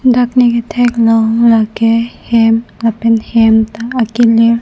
dak ne kethek long lake hem lapen hem ta akelir.